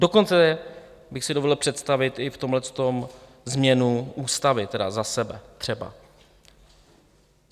Dokonce bych si dovolil představit i v tomhle změnu ústavy, tedy za sebe třeba.